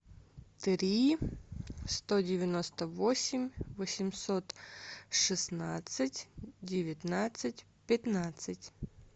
три сто девяносто восемь восемьсот шестнадцать девятнадцать пятнадцать